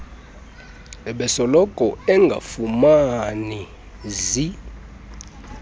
ubesoloko engafumani zi